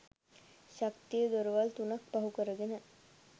ශක්තිය දොරවල් තුනක් පහු කරගෙන